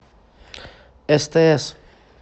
стс